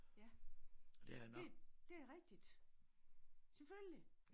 Ja det det rigtigt. Selvfølgelig!